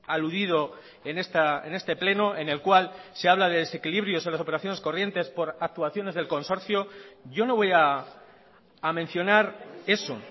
aludido en este pleno en el cual se habla de desequilibrios en las operaciones corrientes por actuaciones del consorcio yo no voy a mencionar eso